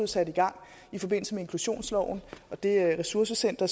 sat i gang i forbindelse med inklusionsloven og det ressourcecenter